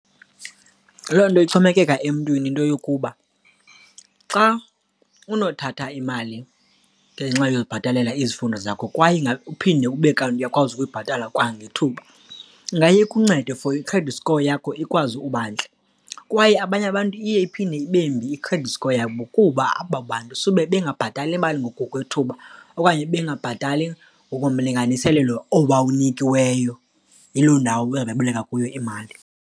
Loo nto ixhomekeka emntwini, into yokuba xa unothatha imali ngenxa yokubhatalela izifundo zakho kwaye ingaphinde ube kanti uyakwazi ukuyibhatala kwangethuba ingaye ikuncede for i-credit score yakho ikwazi ukuba ntle. Kwaye abanye abantu iye iphinde ibe mbi i-credit score yabo kuba abo bantu sube bangabhatali imali ngokwethuba okanye bebengabhatali ngokomlinganiselelo owawunikiweyo yiloo ndawo bebeboleka kuyo imali.